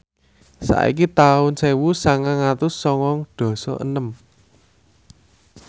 saiki taun sewu sangang atus sangang dasa enem